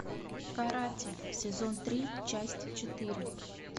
каратель сезон три часть четыре